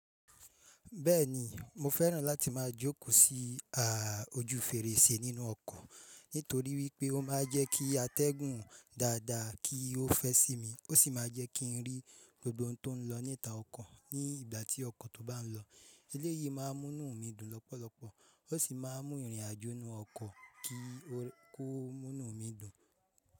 Bẹ́ẹ̀ni, mo fẹ́ràn láti máa jókòó sí à ojú fèrèsé nínú ọkọ̀, nítorí wípé ó máa ń jẹ́ kí atẹ́gùn dáadáa kí ó fẹ́ sí mi. Ó sì máa jẹ́ kí n rí gbogbo ohun tó ń lọ níta ọkọ̀ ní ìgbà tí ọkọ̀ tó bá ń lọ. Eléyìí máa ń mú inú mi dùn lọ́pọ̀lọpọ̀, ó sì máa ń mú ìrìn àjò inú ọkọ̀ ki o mu inú mi dùn.